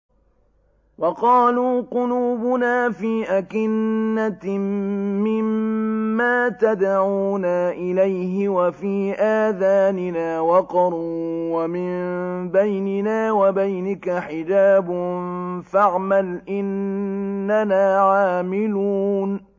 وَقَالُوا قُلُوبُنَا فِي أَكِنَّةٍ مِّمَّا تَدْعُونَا إِلَيْهِ وَفِي آذَانِنَا وَقْرٌ وَمِن بَيْنِنَا وَبَيْنِكَ حِجَابٌ فَاعْمَلْ إِنَّنَا عَامِلُونَ